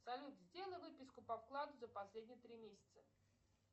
салют сделай выписку по вкладу за последние три месяца